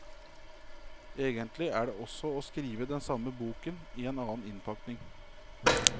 Egentlig er det også å skrive den samme boken i en annen innpakning.